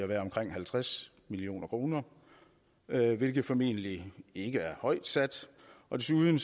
være omkring halvtreds million kr hvilket formentlig ikke er højt sat desuden